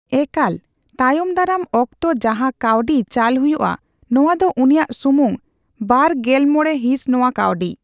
ᱮᱠᱟᱞ, ᱛᱟᱭᱚᱢᱫᱟᱨᱟᱢ ᱚᱠᱛᱚ ᱡᱟᱦᱟ ᱠᱟᱹᱣᱰᱤ ᱪᱟᱞ ᱦᱩᱭᱩᱜᱼᱟ, ᱱᱚᱣᱟᱫᱚ ᱩᱱᱤᱭᱟᱜ ᱥᱩᱢᱩᱝ ᱵᱟᱨᱼᱜᱮᱞᱢᱚᱬᱮ ᱦᱤᱸᱥ ᱱᱚᱣᱟ ᱠᱟᱹᱣᱰᱤ ᱾